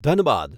Dhanbad